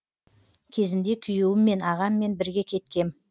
кезінде күйеуіммен ағаммен бірге кеткем